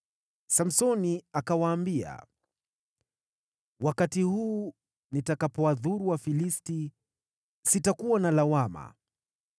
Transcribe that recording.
Samsoni akawaambia, “Wakati huu, nitakapowadhuru Wafilisti, sitakuwa na lawama.”